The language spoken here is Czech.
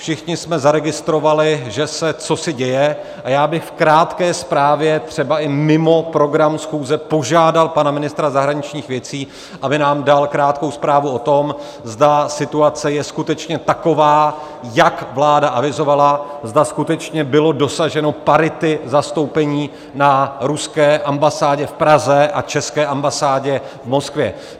Všichni jste zaregistrovali, že se cosi děje, a já bych v krátké zprávě, třeba i mimo program schůze, požádal pan ministra zahraničních věcí, aby nám dal krátkou zprávu o tom, zda situace je skutečně taková, jak vláda avizovala, zda skutečně bylo dosaženo parity zastoupení na ruské ambasádě v Praze a české ambasádě v Moskvě.